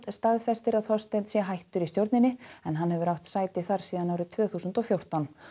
staðfestir að Þorsteinn sé hættur í stjórninni en hann hefur átt sæti þar síðan tvö þúsund og fjórtán